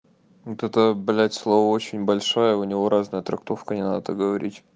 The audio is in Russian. вот это блять слово очень большое у него разная трактовка не надо так говорить